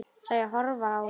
Þau horfa á mig.